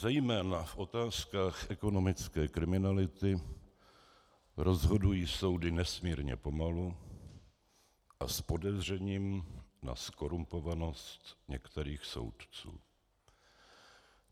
Zejména v otázkách ekonomické kriminality rozhodují soudy nesmírně pomalu a s podezřením na zkorumpovanost některých soudců.